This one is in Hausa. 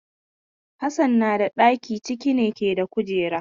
Hassan na da ɗaki cike ne da kujeru.